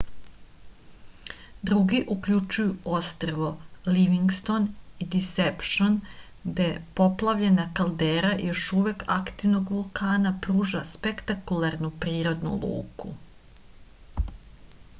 drugi uključuju ostrvo livingston i disepšn gde poplavljena kaldera još uvek aktivnog vulkana pruža spektakularnu prirodnu luku